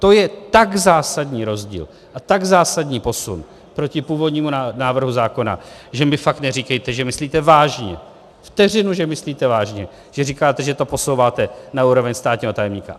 To je tak zásadní rozdíl a tak zásadní posun proti původnímu návrhu zákona, že mi fakt neříkejte, že myslíte vážně, vteřinu že myslíte vážně, že říkáte, že to posouváte na úroveň státního tajemníka.